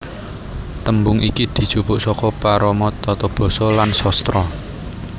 Tembung iki dijupuk saka parama tata basa lan sastra